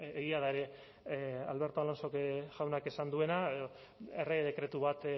egia da ere alberto alonso jaunak esan duena errege dekretu bat